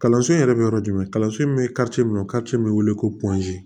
Kalanso yɛrɛ bɛ yɔrɔ jumɛn kalanso in bɛ min bɛ wele ko